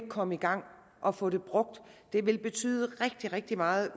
komme i gang og få det brugt det vil betyde rigtig rigtig meget